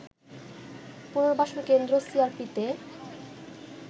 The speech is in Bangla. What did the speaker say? পুনর্বাসন কেন্দ্র সিআরপিতে